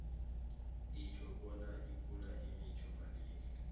itjho bona ipula ibiza malini